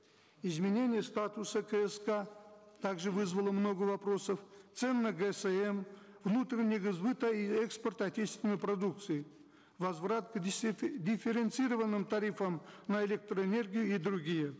изменение статуса кск также вызвало много вопросов цен на гсм внутреннего сбыта и экспорта отечественной продукции возврат к дифференцированным тарифам на электроэнергию и другие